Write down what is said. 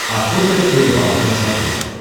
охота и рыбалка на смотрешке